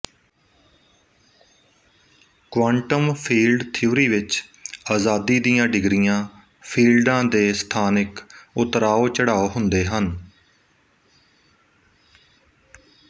quantum field theory ਵਿੱਚ ਅਜਾਦੀ ਦੀਆਂ ਡਿਗਰੀਆਂ ਫੀਲਡਾਂ ਦੇ ਸਥਾਨਿਕ ਉਤਰਾਓਚੜਾਓ ਹੁੰਦੇ ਹਨ